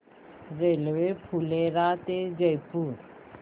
railway Phulera ते जयपूर